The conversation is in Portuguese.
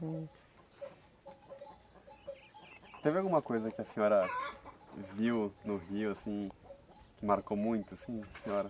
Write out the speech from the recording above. Teve alguma coisa que a senhora viu no rio assim, que marcou muito assim a senhora?